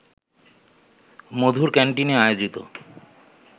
মধুর ক্যান্টিনে আয়োজিত